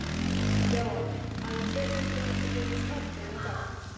Jóhann hafið þið fundið fyrir skjálftum í dag?